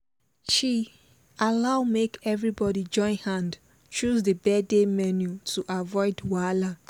she allow make everybody join hand choose the birthday menu to avoid wahala